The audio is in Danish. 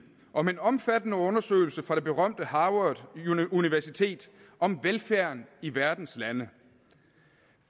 om en omfattende undersøgelse fra det berømte harvard universitet om velfærden i verdens lande